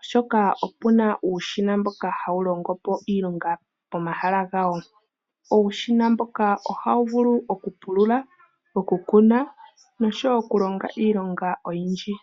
oshoka opena uushina mboka hawu longo po iilonga pomahala gawo. Uushina mboka ohawu vulu okupulula, okukuna noshowo okulonga iilonga oyindji.